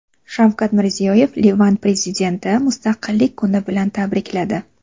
Shavkat Mirziyoyev Livan prezidentini Mustaqillik kuni bilan tabrikladi.